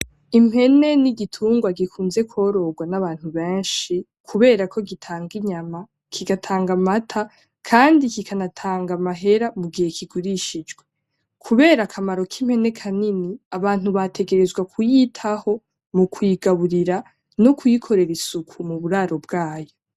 Impene ni igitungwa gikunze kwororwa n'abantu benshi kubera ko gitanga inyama kigatanga amata kandi kikanatanga amahera mu gihe kigurishijwe kubera akamaro k'impene kanini, abantu bategerezwa kuyitaho mu kuyigaburira no kuyikorera isuku mu buraro bwayo.